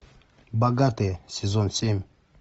богатые сезон семь